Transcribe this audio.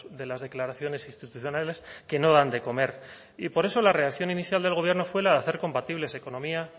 de las declaraciones institucionales que no dan de comer y por eso la reacción inicial del gobierno fue la de hacer compatible esa economía